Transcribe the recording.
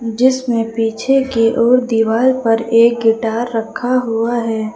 जिसमे पीछे की ओर दीवाल पर एक गिटार रखा हुआ है।